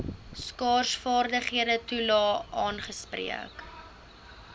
skaarsvaardighede toelae aangespreek